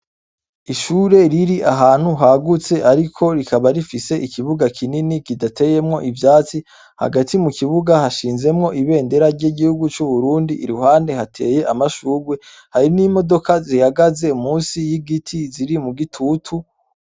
Ishure riri ahantu hagutse ariko rikaba rifise ikibuga kinini giteyemwo ivyatsi Hagati mu ikibuga hashinzemwo ibendera ryigihugu cu Burundi iruhande hateye amashurwe hari nimodoka munsi yigiti ziri mu gitutu.